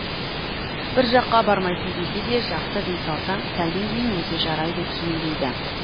бір жаққа бармайсың десе де жақсы дей салсаң сәлден кейін өзі жарайды киін дейді